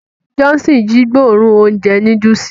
Johnson ji gbóòórùn ounjẹ núdùùsì.